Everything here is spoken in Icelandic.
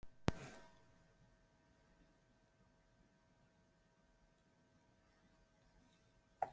Gautur Ívar Halldórsson: Það er alltaf allt opið, er það ekki?